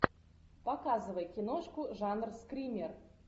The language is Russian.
показывай киношку жанр скример